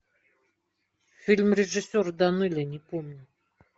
фильм режиссера данелия не помню